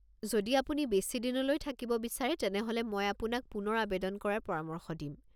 যদি আপুনি বেছি দিনলৈ থাকিব বিচাৰে তেনেহ'লে মই আপোনাক পুনৰ আৱেদন কৰাৰ পৰামৰ্শ দিম।